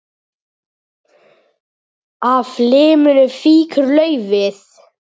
Af liminu fýkur laufið.